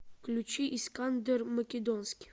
включи искандер македонский